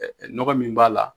Ɛɛ nɔgɔ min b'a la.